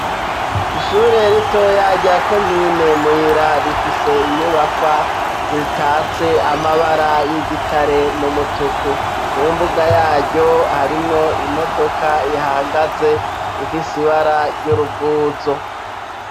Ishure rito rya komine Muyira rifise inyubakwa zitatse amabara y'igitare n'umutuku mu mbuga yaryo harimwo imodoka ihahagaze ifise ibara ry'uruvuzo